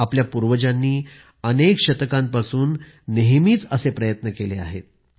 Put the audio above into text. आपल्या पूर्वजांनी अनेक शतकांपासून नेहमीच असे प्रयत्न केले आहेत